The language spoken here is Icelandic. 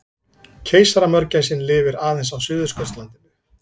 Keisaramörgæsin lifir aðeins á Suðurskautslandinu.